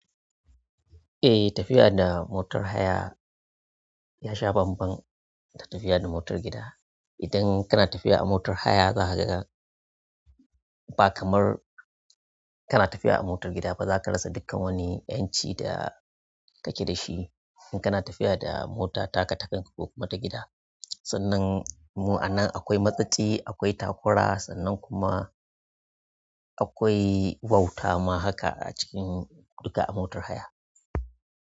Eh tafiya da motar haya ya sha bamban da tafiya da motar gida. Idan kana tafiya a motar haya za ka ga ba kamar kana tafiya a motar gida ba. Za ka rasa dukkan wani yanci da kake da shi in kana tafiya da mota taka takan ka kokuma ta gida. Sannan mu'anan akwai matsatsi, akwai takura sannan kuma. Akwai wauta ma haka a cikin duka a motar haya.